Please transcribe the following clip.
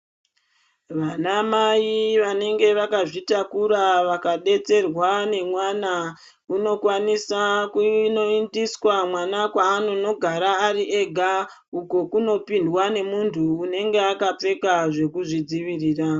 Vanamai vanenge vakazvitakura, vakadetserwa nemwana, unokwanisa kunoyindiswa mwana kwaanonogara ari ega. Uko kunopindwa nemuntu unenga akapfeka zvekuzvidzivirira.